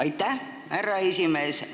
Aitäh, härra esimees!